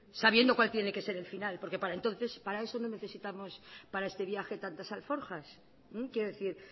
sabiendo cuál tiene que ser el final porque para entonces para eso no necesitamos para este viaje tantas alforjas quiero decir